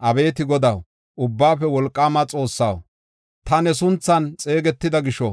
Abeeti Godaw, Ubbaafe Wolqaama Xoossaw, ta ne sunthan xeegetida gisho,